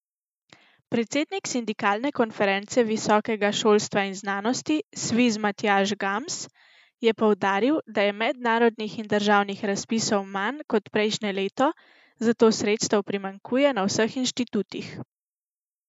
Predsednik Sindikalne konference visokega šolstva in znanosti Sviz Matjaž Gams je poudaril, da je mednarodnih in državnih razpisov manj kot prejšnje leto, zato sredstev primanjkuje na vseh inštitutih.